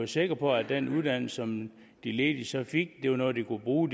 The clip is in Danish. sikre på at den uddannelse som de ledige så fik var noget de kunne bruge